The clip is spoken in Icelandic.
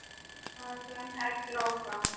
Sagan heldur áfram.